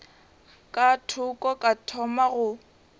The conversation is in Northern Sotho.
ka thoko ka thoma go